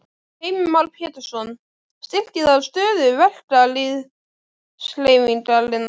Heimir Már Pétursson: Styrkir það stöðu verkalýðshreyfingarinnar?